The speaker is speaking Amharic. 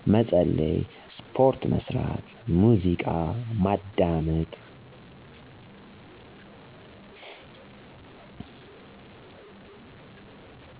መጸለይ፣ ስፖርት መስራት፣ ሙዚቃ ማዳመጥ።